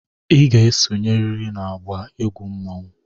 Ị ga-esonyerịrị n'agba egwu mmanwụ!